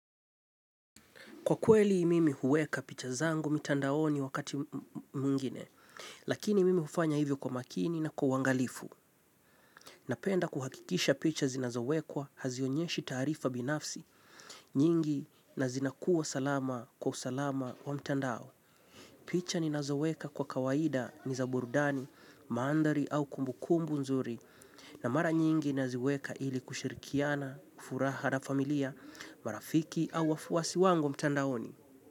Kwa kweli mimi huweka picha zangu mitandaoni wakati mwingine, lakini mimi hufanya hivyo kwa makini na kwa uangalifu. Napenda kuhakikisha picha zinazowekwa hazionyeshi taarifa binafsi, nyingi na zinakuwa salama kwa usalama wa mtandao. Picha ninazoweka kwa kawaida ni za burudani, maandhari au kumbukumbu nzuri, na mara nyingi naziweka ili kushirikiana, furaha na familia, marafiki au wafuasi wangu mtandaoni.